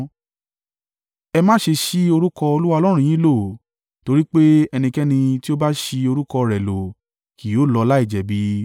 Ẹ má ṣe ṣi orúkọ Olúwa Ọlọ́run yín lò, torí pé ẹnikẹ́ni tí o bá ṣi orúkọ rẹ̀ lò kì yóò lọ láìjẹ̀bi.